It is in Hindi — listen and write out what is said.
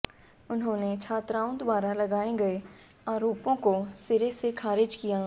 उन्होंने छात्राओं द्वारा लगाए गए आरोपों को सिरे से खारिज किया